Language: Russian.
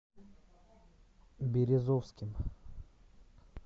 березовским